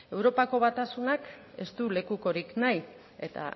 europako batasunak ez du lekukorik nahi eta